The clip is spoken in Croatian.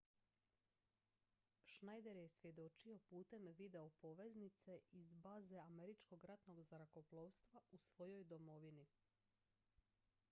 schneider je svjedočio putem videopoveznice iz baze američkog ratnog zrakoplovstva u svojoj domovini